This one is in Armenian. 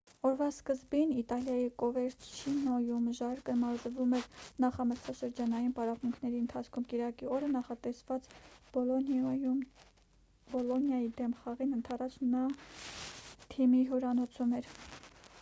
օրվա սկզբին իտալիայի կովերչիանոյում ժարկը մարզվում էր նախամրցաշրջանային պարապմունքների ընթացքում կիրակի օրը նախատեսված բոլոնիայի դեմ խաղին ընդառաջ նա թիմի հյուրանոցում էր